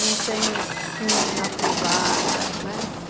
Não tem pingo na privada... né.